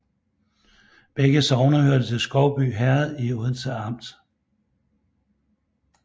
Begge sogne hørte til Skovby Herred i Odense Amt